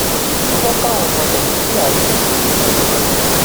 mo fẹ káwọn ọmọ nàìjíríà yìn mí ni um